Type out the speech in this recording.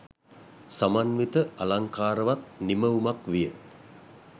සමන්විත අලංකාරවත් නිමවුමක් විය.